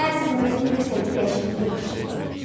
Hə, əzizim, özün bilirsən ki, dəyişiklik yaxşı şeydi.